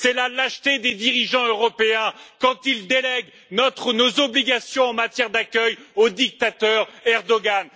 C'est la lâcheté des dirigeants européens quand ils délèguent nos obligations en matière d'accueil au dictateur Erdoğan!